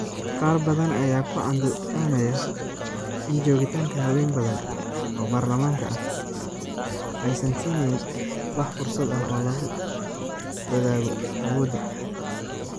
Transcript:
Qaar badan ayaa ku andacoonaya in joogitaanka haween badan oo baarlamaanka ah, aysan siineynin wax fursad ah oo lagu wadaago awoodda.